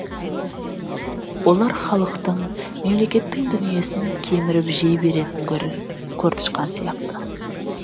олар халықтың мемлекеттің дүниесін кеміріп жей беретін көр тышқан сяқты